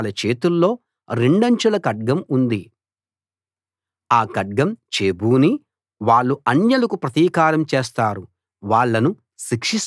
వాళ్ళ చేతుల్లో రెండంచుల ఖడ్గం ఉంది ఆ ఖడ్గం చేబూని వాళ్ళు అన్యులకు ప్రతీకారం చేస్తారు వాళ్ళను శిక్షిస్తారు